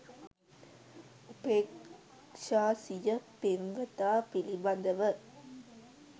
උපේක්ෂා සිය පෙම්වතා පිළිබඳව